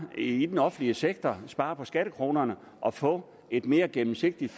i den offentlige sektor spare på skattekronerne og få et mere gennemsigtigt